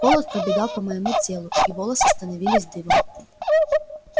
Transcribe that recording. холод пробегал по моему телу и волоса становились дыбом